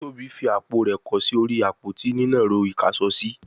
Tóbi fí àpò rẹ kọ sí orí Àpótí nínàró ìkáṣọsí